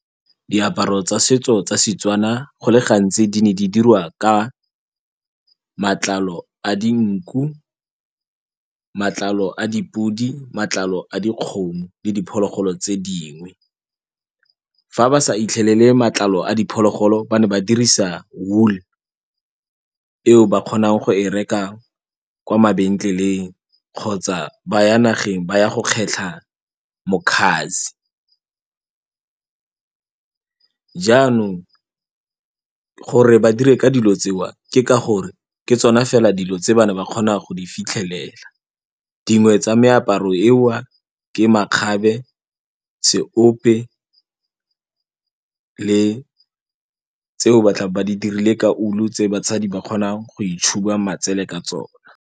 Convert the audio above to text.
Diaparo tsa setso tsa seTswana go le gantsi di ne di diriwa ka matlalo a dinku, matlalo a dipodi, matlalo a dikgomo le diphologolo tse dingwe. Fa ba sa itlhelele matlalo a diphologolo ba ne ba dirisa wool eo ba kgonang go e reka kwa mabentleleng kgotsa ba ya nageng ba ya go kgetlha mokhazi. Jaanong gore ba dire ka dilo tseo ke ka gore ke tsona fela dilo tse ba ne ba kgona go di fitlhelela, dingwe tsa meaparo eo ke makgabe, seope le tseo ba tlabe ba di dirile ka wool tse basadi ba kgonang go itšhuba matsele ka tsone.